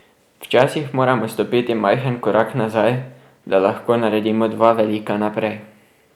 Včasih moramo stopiti majhen korak nazaj, da lahko naredimo dva velika naprej.